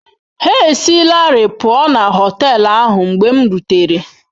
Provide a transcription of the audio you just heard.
Ha esilarị pụọ na họtel ahụ mgbe m rutere.